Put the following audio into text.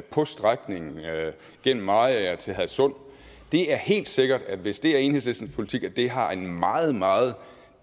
på strækningen gennem mariager til hadsund det er helt sikkert hvis det er enhedslistens politik at det har et meget meget